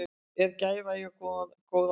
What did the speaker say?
Það er gæfa að eiga góða að.